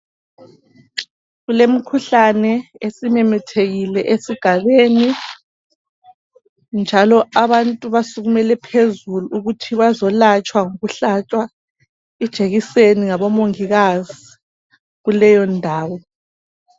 Kulemikhuhlane esimemethekile esigabeni, njalo abantu basukumele phezulu ukuthi bazolatshwa ngokuhlatshwa ijekiseni ngabomongikazi kuleyo ndawo.